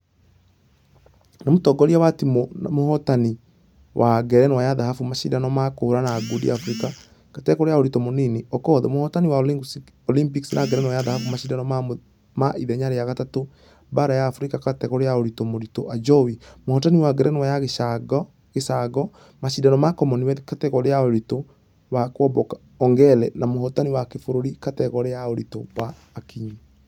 Nĩ ....mũtongoria wa timũ na mũhotani wa ngerenwa ya dhahabu mashidano ma kũhũrana ngundi africa kategore ya ũritũ mũnini okoth , mũhotani wa olympics na ngerenwa ya dhahabu mashidano ma ithenya rĩa gatatũ baara ya africa kategore ya ũritũ mũritũ ajowi . Mũhotani wa ngerenwa ya gĩcango. mashidano ma commonwealth kategore ya ũritũ wa kuomboka ongare na mũhotani wa kĩbũrũri kategore ya ũritũ wa.....akinyi.